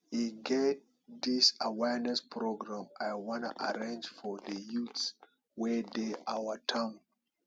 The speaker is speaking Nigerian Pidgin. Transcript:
e get dis awareness program i wan arrange for the youths wey dey our our town